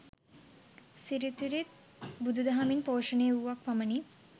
සිරිත් විරිත් ත් බුදු දහමින් පෝෂණය වුවක් පමණි.